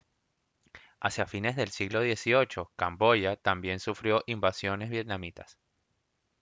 hacia fines del siglo xviii camboya también sufrió invasiones vietnamitas